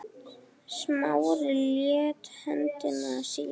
Smári lét höndina síga.